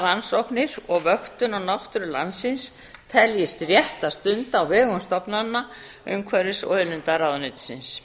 rannsóknir og vöktun á náttúru landsins teldist rétt að stunda á vegum stofnana umhverfis og auðlindaráðuneytisins